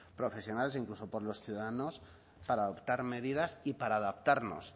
profesionales e incluso por los ciudadanos para adoptar medidas y para adaptarnos